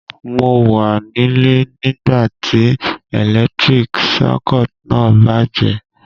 Mo wa nílé nígbàtí electric circuit náà bàjẹ́